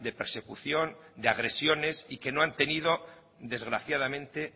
de persecución de agresiones y que no han tenido desgraciadamente